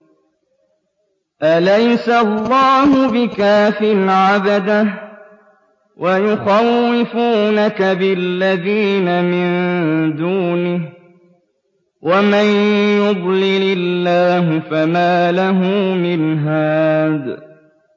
أَلَيْسَ اللَّهُ بِكَافٍ عَبْدَهُ ۖ وَيُخَوِّفُونَكَ بِالَّذِينَ مِن دُونِهِ ۚ وَمَن يُضْلِلِ اللَّهُ فَمَا لَهُ مِنْ هَادٍ